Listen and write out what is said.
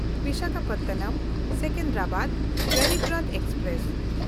ᱵᱤᱥᱟᱠᱷᱟᱯᱚᱴᱱᱚᱢ–ᱥᱮᱠᱮᱱᱫᱨᱟᱵᱟᱫ Garib Rath express